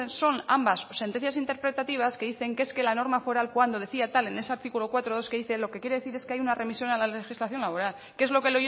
son ambas sentencias interpretativas que dicen que es que la norma foral cuando decía tal en ese artículo cuatro punto dos que dice lo que quiere decir es que hay una remisión a la legislación laboral que es lo que